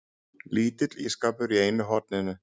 Lítill ísskápur í einu horninu.